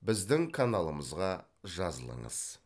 біздің каналымызға жазылыңыз